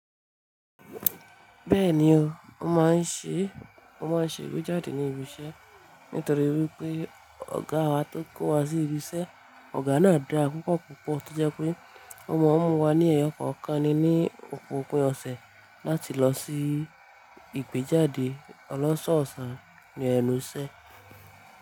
Bẹ́ẹ̀ni o, ó máa ń ṣe, ó máa ń ṣe ìgbéjáde ní ibi iṣẹ́ nítorí wípé ọ̀gá wa tó kó wa sí ibi iṣẹ́, ọ̀gá náà dá pupọ́ púpọ̀ tó jẹ́ pé ó mọ wípé wọ́n ní ẹyọkọ̀ọ̀kan ni ní òpin òpin ọ̀sẹ̀ láti lọ sí ìgbéjáde olọ́ sọ́ ọ̀sán ní ẹnu iṣẹ́